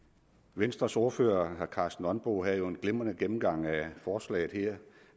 venstres ordfører herre karsten nonbo havde jo en glimrende gennemgang af forslaget her